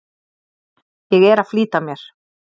Ég er að flýta mér!